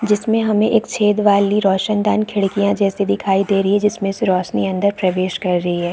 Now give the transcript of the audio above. जिसमें हमें एक छेद वाली रोशनदान खिड़कियां जैसी दिखाई दे रही है जिसमें से रोशनी अंदर प्रवेश कर रही है।